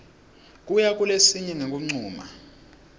kuya kulesinye ngekuncuma